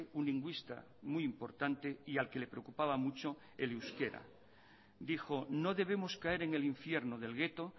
un lingüista muy importante y al que le preocupaba mucho el euskera dijo no debemos caer en el infierno del gueto